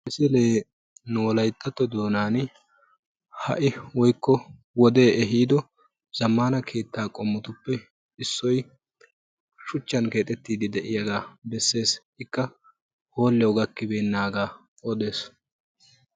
ha misilee nu wolayttatto doonan ha'i woykko wode ehido keetta qommotuppe issoy shuchchan keexxetiid de'iyaaga bessees, ikka hooliyaw gakkibeenaaga odees.